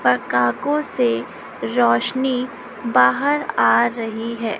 पकाको से रौशनी बाहर आ रही है।